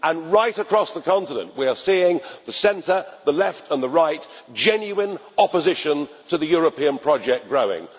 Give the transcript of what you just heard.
Right across the continent we are seeing, in the centre, the left and the right, genuine opposition to the European project growing.